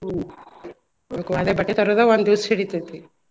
ಹ್ಮ್ ಅದೆ ಬಟ್ಟೆ ತರೋದ ಒಂದ್ ದಿವ್ಸ ಹಿಡಿತೇತಿ.